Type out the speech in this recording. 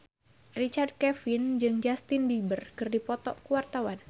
Richard Kevin jeung Justin Beiber keur dipoto ku wartawan